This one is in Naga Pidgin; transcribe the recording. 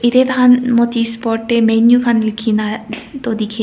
etey taihan notice board tey menu khan likhina toh dikhe.